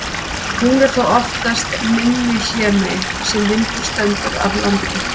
Hún er þá oftast minni hlémegin, þar sem vindur stendur af landi.